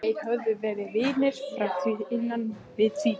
Þeir höfðu verið vinir frá því innan við tvítugt.